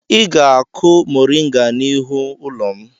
Ị ga-akụ mọrịnga n'ihu ụlọ m!